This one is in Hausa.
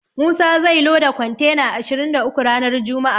Musa zai loda kontena ashirin da uku ranar juma'a.